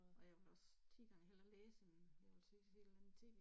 Og jeg vil også 10 gange hellere læse end jeg vil sidde og se et eller andet tv